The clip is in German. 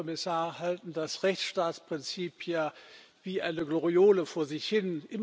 Sie, Herr Kommissar, halten das Rechtsstaatsprinzip ja wie eine Gloriole vor sich hin